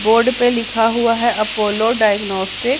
board पे लिखा हुवा हैं अपोलो डायग्नोस्टिक --